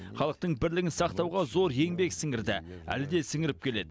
халықтың бірлігін сақтауға зор еңбек сіңірді әлі де сіңіріп келеді